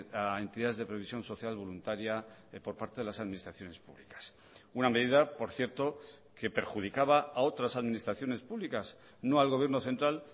a entidades de previsión social voluntaria por parte de las administraciones públicas una medida por cierto que perjudicaba a otras administraciones públicas no al gobierno central